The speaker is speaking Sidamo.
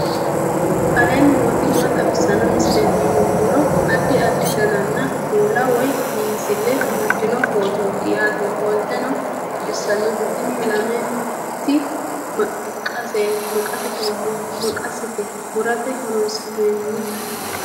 aleenni nooti maa xawisanno misileeti yinummoro addi addi dananna kuula woy biinsille amaddino footooti yaate qoltenno baxissannote tini lamenti maqasete murate horoonsi'nannite